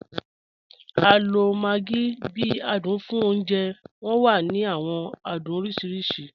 A lo maggi bi adun fun ọ̀unjẹ, wọn wa ni awọn adun oriṣiriṣi.